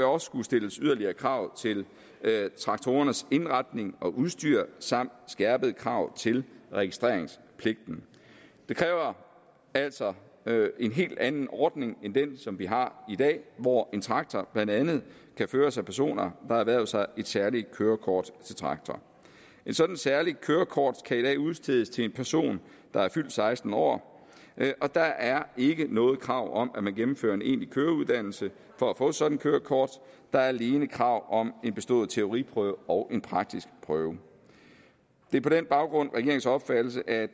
også skulle stilles yderligere krav til traktorernes indretning og udstyr samt skærpede krav til registreringspligten det kræver altså en helt anden ordning end den som vi har i dag hvor en traktor blandt andet kan føres af personer har erhvervet sig et særligt kørekort til traktor et sådant særligt kørekort kan i dag udstedes til en person der er fyldt seksten år og der er ikke noget krav om at man gennemfører en egentlig køreuddannelse for at få sådan et kørekort der er alene krav om en bestået teoriprøve og en praktisk prøve det er på den baggrund regeringens opfattelse at